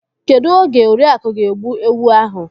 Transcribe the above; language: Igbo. Kedụ oge Oriaku ga-egbu ewu ahụ?